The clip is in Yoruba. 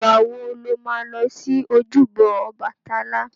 Ìgbà wo lo ma lọ sí ojúbọ Ọbàtálá?